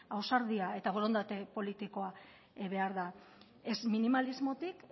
ausardia eta borondate politikoa behar da ez minimalismotik